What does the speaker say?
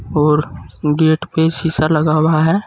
और गेट पे शीशा लगा हुआ है।